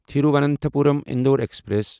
Thiruvananthapuram Indore express